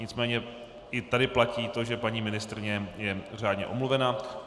Nicméně i tady platí to, že paní ministryně je řádně omluvena.